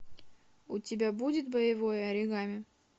у тебя будет боевое оригами